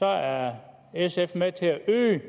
er sf med til at øge